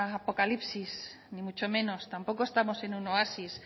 apocalipsis ni mucho menos tampoco estamos en un oasis